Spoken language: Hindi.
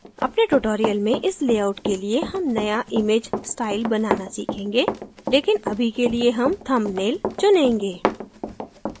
अगले tutorials में इस layout के लिए हम नया image style बनाना सीखेंगे लेकिन अभी के लिए हम thumbnail चुनेंगे